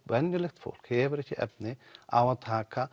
venjulegt fólk hefur ekki efni á að taka